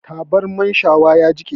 Tabarman shawa ya jiƙe